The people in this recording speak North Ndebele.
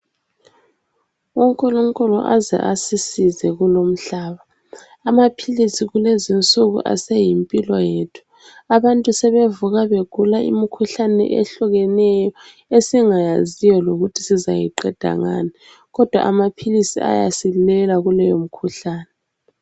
UNkulunkulu aze asisize kulowu mhlaba amapills kulezinsuku aseyimpilo yethu abantu sebevuka begula imkhuhlane ehlukeneyo esingayaziyo lokuthi sizayiqeda ngani kodwa amapills ayasilela kuleyo mkhuhlane